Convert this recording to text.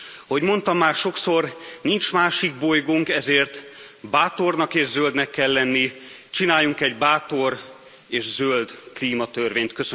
Ahogy mondtam már sokszor, nincs másik bolygónk, ezért bátornak és zöldnek kell lenni. Csináljunk egy bátor és zöld klímatörvényt!